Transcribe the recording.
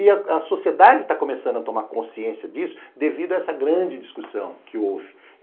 E a sociedade está começando a tomar consciência disso devido a essa grande discussão que houve.